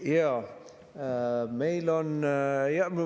Jaa, meil on …